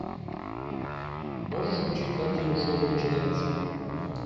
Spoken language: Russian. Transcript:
можешь включить картину шоу начинается